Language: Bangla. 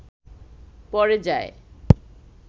পড়ে যায়